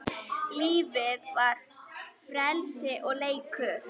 Lífið var frelsi og leikur.